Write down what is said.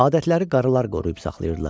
Adətləri qaralar qoruyub saxlayırdılar.